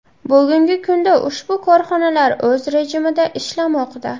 Bugungi kunda ushbu korxonalar o‘z rejimida ishlamoqda.